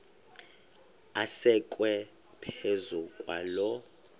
asekwe phezu kwaloo